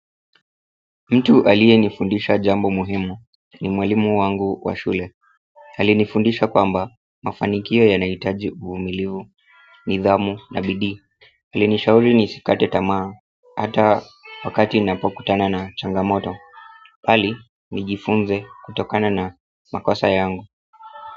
Mtu aliyenifundisha jambo muhimu ni mwalimu wangu wa shule. Alinifundisha kwamba mafanikio yanahitaji uvumilivu, nidhamu na bidii. Alinishauri nisikate tamaa hata wakati ninapokutana na changamoto bali nijifunze kutokana na makosa yangu.